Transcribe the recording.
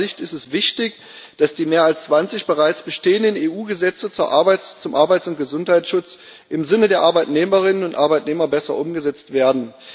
Aus meiner Sicht ist es wichtig, dass die mehr als 20 bereits bestehenden EU Gesetze zum Arbeits und Gesundheitsschutz im Sinne der Arbeitnehmerinnen und Arbeitnehmer besser umgesetzt werden.